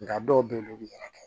Nga dɔw be yen olu bi yɛrɛ kɛ